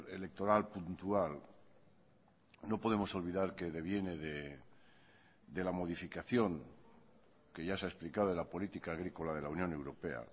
electoral puntual no podemos olvidar que deviene de la modificación que ya se ha explicado en la política agrícola de la unión europea